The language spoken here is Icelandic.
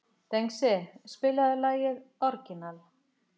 Dengsi, spilaðu lagið „Orginal“.